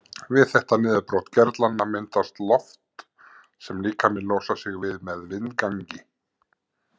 Við þetta niðurbrot gerlanna myndast loft sem líkaminn losar sig við með vindgangi.